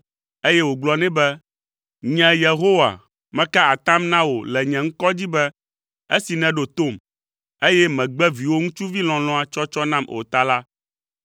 eye wògblɔ nɛ be, “Nye, Yehowa, meka atam na wò le nye ŋkɔ dzi be esi nèɖo tom, eye mègbe viwò ŋutsuvi lɔlɔ̃a tsɔtsɔ nam o ta la,